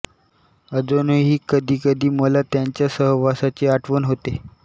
अजूनही कधी कधी मला त्यांच्या सहवासाची आठवण होते